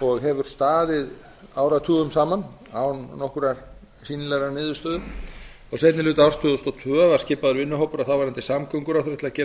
og hefur staðið áratugum saman án nokkurrar sýnilegrar niðurstöðu á seinni hluta árs tvö þúsund og tvö var skipaður vinnuhópur af þáverandi samgönguráðherra til að gera